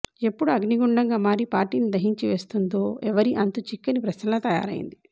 ఎప్పుడు అగ్నిగుండంగా మారి పార్టీని దహించివేస్తుందో ఎవ్వరి అంతుచిక్కని ప్రశ్నలా తయారయ్యింది